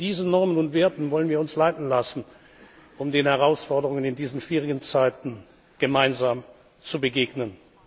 Von diesen Normen und Werten wollen wir uns leiten lassen, um den Herausforderungen in diesen schwierigen Zeiten gemeinsam zu begegnen.